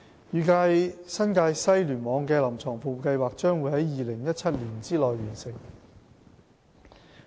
預計新界西聯網的"臨床服務計劃"將會於2017年內完成。